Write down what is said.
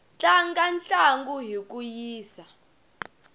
tlanga ntlangu hi ku yisa